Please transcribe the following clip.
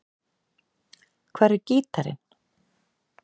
Hvar er gítarinn?